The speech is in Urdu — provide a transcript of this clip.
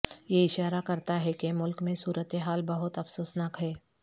یہ اشارہ کرتا ہے کہ ملک میں صورت حال بہت افسوسناک ہے